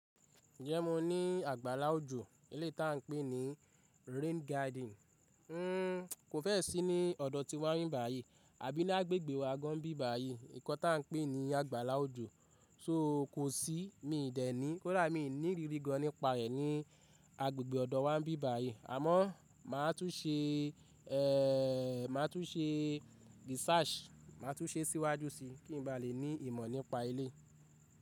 Ǹjẹ́ mo ní àgbàlá òjò, ilé tí à ń pè ní rain garden? Kò fẹ́ẹ̀ sí ní ọ̀dọ̀ tí wá ń bí báyìí, àbí ní agbègbè wa gan n bí báyìí, nǹkan tí à ń pè ní àgbàlá òjò, so kò sí míì dẹ̀ ní, kódà mi ní irírí gan nípa rẹ̀ ní agbègbè ọ̀dọ̀ wa ń bí báyìí. Àmọ́ máa tún ṣe, máa tún ṣe research, máa tún ṣe síwájú síi kí n ba le ní ìmọ̀ nípa ilé.